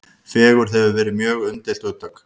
Fegurð hefur verið mjög umdeilt hugtak.